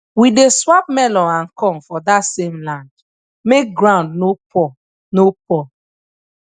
we dey swap melon and corn for dat same land make ground no poor no poor